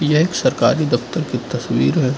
यह सरकारी दफ्तर की तस्वीर है।